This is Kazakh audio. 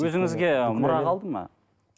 өзіңізге мұра қалды ма